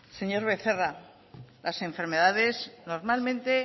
señor becerra las enfermedades normalmente